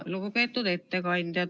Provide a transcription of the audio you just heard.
Lugupeetud ettekandja!